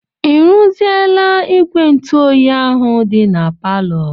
I ruziela igwe ntụoyi ahụ dị na palọ?